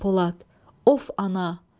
Of, ana!